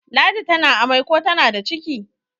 ladi tana amai ko tana da ciki